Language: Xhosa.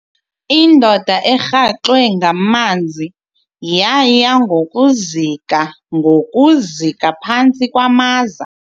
Indoda erhaxwe ngamanzi yaya ngokuzika ngokuzika phantsi kwamaza.